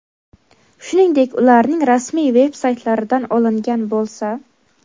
shuningdek ularning rasmiy veb-saytlaridan olingan bo‘lsa;.